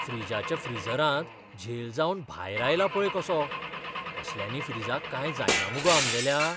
फ्रीजाच्या फ्रिजरांत झेल जावन भायर आयला पळय कसो, असल्यांनी फ्रीजाक कांय जायना मुगो आमगेल्या?